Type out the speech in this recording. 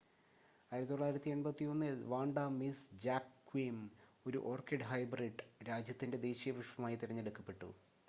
1981-ൽ Vanda Miss Joaquim ഒരു orchid hybrid രാജ്യത്തിൻ്റെ ദേശീയ പുഷ്‌പമായി തിരഞ്ഞെടുക്കപ്പെട്ടു